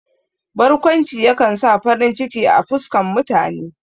Barkwanci ya kan sa farin ciki a fuskan mutane.